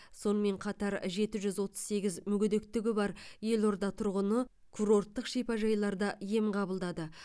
сонымен қатар жеті жүз отыз сегіз мүгедектігі бар елорда тұрғыны курорттық шипажайларда ем қабылдады